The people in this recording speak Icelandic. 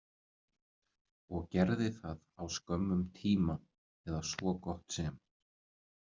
Og gerði það á skömmum tíma, eða svo gott sem.